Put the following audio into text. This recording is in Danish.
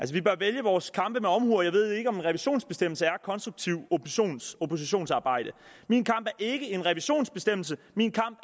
vi bør vælge vores kampe med omhu og jeg ved ikke om en revisionsbestemmelse er konstruktivt oppositionsarbejde min kamp er ikke om en revisionsbestemmelse min kamp